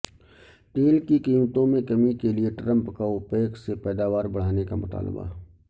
تیل کی قیمتوںمیں کمی کےلئے ٹرمپ کا ا وپیک سے پیداوار بڑھانے کا مطالبہ